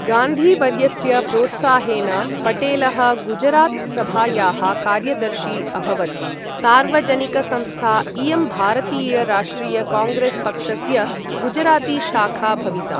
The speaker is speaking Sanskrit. गान्धी वर्यस्य प्रोत्साहेन पटेलः गुजरात् सभायाः कार्यदर्शी अभवत्, सार्वजनिकसंस्था इयं भारतीय राष्ट्रिय काङ्ग्रेस् पक्षस्य गुजरातीशाखा भविता।